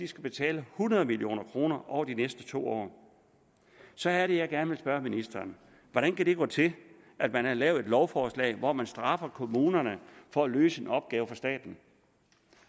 skal betale hundrede million kroner over de næste to år så er det at jeg gerne spørge ministeren hvordan kan det gå til at man har lavet et lovforslag hvor man straffer kommunerne for at løse en opgave for staten